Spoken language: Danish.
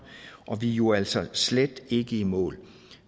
og vi er jo altså slet ikke i mål